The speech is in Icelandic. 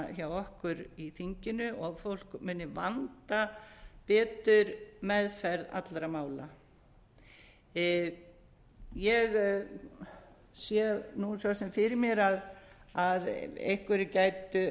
hjá okkur í þinginu og fólk muni vanda betur meðferð allra mála ég sé nú svo sem fyrir mér að einhverjir gætu